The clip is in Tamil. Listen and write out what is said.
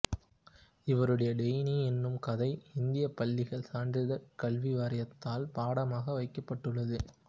இவருடைய டெய்னி என்னும் கதை இந்தியப் பள்ளிகள் சான்றிதழ் கல்வி வாரியத்தால் பாடமாக வைக்கப்பட்டுள்ளது